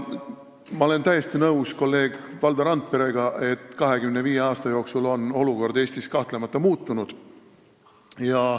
Ma olen täiesti nõus kolleeg Valdo Randperega, et 25 aasta jooksul on olukord Eestis kahtlemata muutunud.